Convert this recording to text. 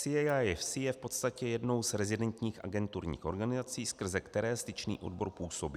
CAIFC je v podstatě jednou z rezidentních agenturních organizací, skrze které Styčný odbor působí.